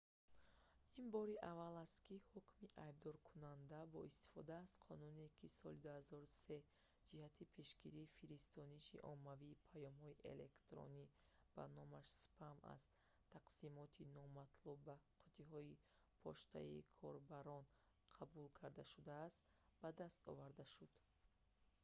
ин бори аввал аст ки ҳукми айбдоркунанда бо истифода аз қонуне ки соли 2003 ҷиҳати пешгирии фиристониши оммавии паёмҳои электронӣ ба номаш спам аз тақсимоти номатлуб ба қуттиҳои почтаи корбарон қабул карда шудааст ба даст оварда шуд